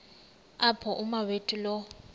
apho umawethu lo